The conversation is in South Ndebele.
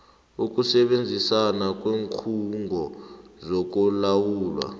ukusebenzisana kweenkhungo zokulawulwa